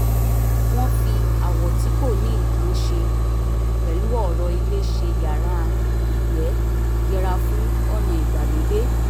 wọ́n fi àwọ̀ tí kò ní nǹkan ṣe pẹ̀lú ọ̀rọ̀ ilé ṣe yàrá ìgbẹ́ yẹra fún ọ̀nà ìgbàlódé